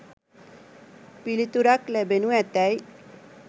පිළිතුරක් ලැබෙනු ඇතැයි